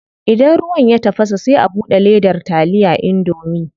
Idan ruwan ya tafasa sai a bude ledar taliya indomie.